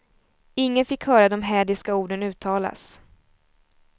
Ingen fick höra de hädiska orden uttalas.